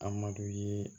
Adama ye